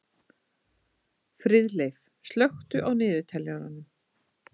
Friðleif, slökktu á niðurteljaranum.